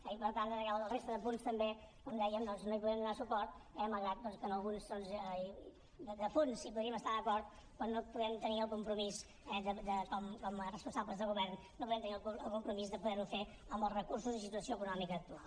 i per tant a la resta de punts com deia no hi podrem donar suport malgrat que en alguns de fons hi podríem estar d’acord però no podem tenir el compromís com a responsables de govern no podem tenir el compromís de poder ho fer amb els recursos i situació econòmica actual